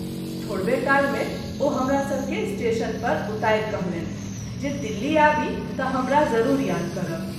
थोड़बे काल मे ओ हमरा सभ के स्टेशन पर उतारि कहलनि जे दिल्ली आबी त’ हमरा जरूर याद करब।